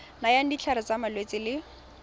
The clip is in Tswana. nayang ditlhare tsa malwetse le